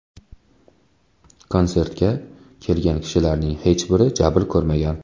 Konsertga kelgan kishilarning hech biri jabr ko‘rmagan.